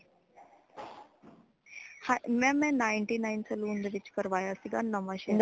mam ਮੈਂ ninth nine saloon ਦੇ ਵਿੱਚ ਕਰਵਾਇਆ ਸੀ ਨਵਾਂ ਸ਼ਹਿਰ।